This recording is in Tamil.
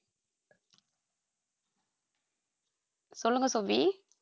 சொல்லுங்க சோபி